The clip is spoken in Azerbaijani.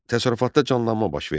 Təsərrüfatda canlanma baş verdi.